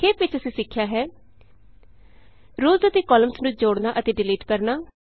ਸੰਖੇਪ ਵਿਚ ਅਸੀਂ ਸਿੱਖਿਆ ਹੈ ਰੋਅਜ਼ ਅਤੇ ਕਾਲਮਸ ਨੂੰ ਜੋੜਨਾ ਅਤੇ ਡਿਲੀਟ ਕਰਨਾ